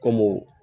Kɔmi